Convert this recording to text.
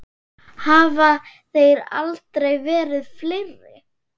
Hafa þeir aldrei verið fleiri.